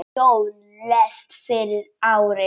Jón lést fyrir ári.